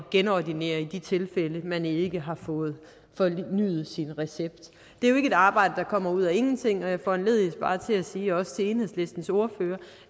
genordinere i de tilfælde man ikke har fået fornyet sin recept det er jo ikke et arbejde der kommer ud af ingenting og jeg foranlediges bare til at sige også til enhedslistens ordfører